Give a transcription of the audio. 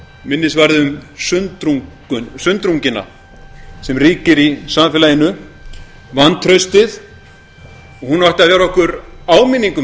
minnisvarði um sundrunguna sem ríkir í samfélaginu vantraustið og hún ætti að vera okkur áminning um